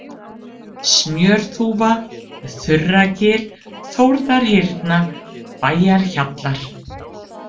Smjörþúfa, Þurragil, Þórðarhyrna, Bæjarhjallar